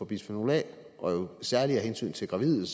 bisfenol a særlig af hensyn til gravide